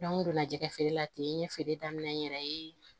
n donna jɛgɛ feere la ten n ye feere daminɛ n yɛrɛ ye